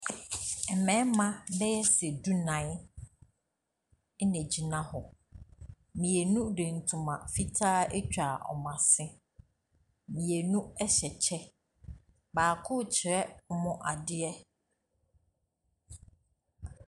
Mmarima bɛyɛ du-nnan na wɔgyina hɔ. Mmienu de ntoma fitaa atwa wɔn asene. Mmienu hyɛ kyɛ. Baako rekyerɛ wɔn adeɛ.